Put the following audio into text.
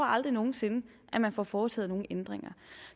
aldrig nogen sinde at man får foretaget nogen ændringer